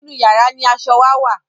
nínú yàrá ní aṣọ wà wá